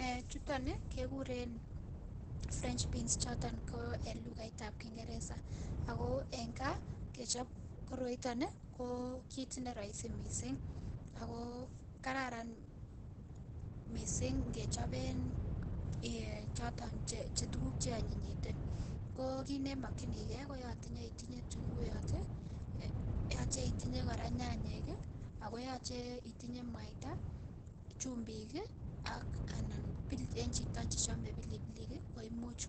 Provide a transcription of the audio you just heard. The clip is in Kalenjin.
Ee chuton ii kekuren French beans choton ko en lukaitab kingereza ako en kaa kechop koroiton ko kit neroisi missing' , ako kararan missing' ingechoben choton tuguk cheonyinyite ko kit nemokyigee koyoche itinyee itunguiyot ii, yoche itinyee koraa nyanyek ii, ako yoche itinyee mwaita ii chumbik ii anan ko en chito ne chome pilipilik ii koimuch